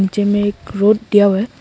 पीछे में एक रोड दिया हुआ है।